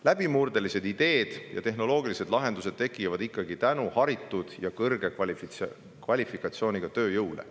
Läbimurdelised ideed ja tehnoloogilised lahendused tekivad ikkagi tänu haritud ja kõrge kvalifikatsiooniga tööjõule.